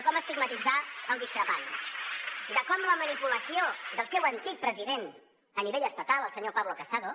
com estigmatitzar el discrepant de com la manipulació del seu antic president a nivell estatal el senyor pablo casado